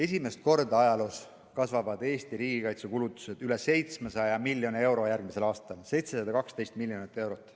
Esimest korda ajaloos kasvavad järgmisel aastal Eesti riigikaitsekulutused üle 700 miljoni, 712 miljonit eurot.